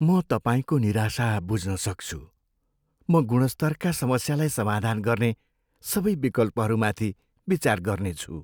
म तपाईँको निराशा बुझ्न सक्छु, म गुणस्तरका समस्यालाई समाधान गर्ने सबै विकल्पहरूमाथि विचार गर्नेछु।